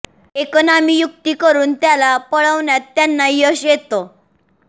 एक नामी युक्ती करून त्याला पळवण्यात त्यांना यश येतं